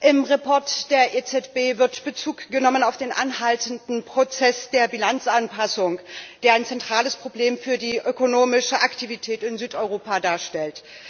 Im Bericht der EZB wird Bezug genommen auf den anhaltenden Prozess der Bilanzanpassung, der ein zentrales Problem für die ökonomische Aktivität in Südeuropa darstellt.